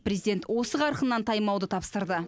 президент осы қарқыннан таймауды тапсырды